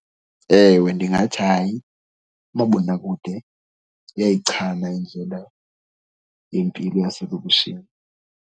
Ewe, ndingathi hayi umabonakude uyayichana indlela yempilo yaselokishini.